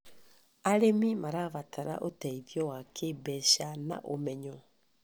Arĩmi marabatara ũteithio wa kĩmbeca na ũmenyo.